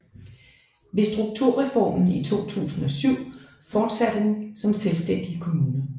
Ved strukturreformen i 2007 fortsatte den som selvstændig kommune